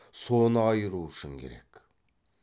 соны айыру үшін керек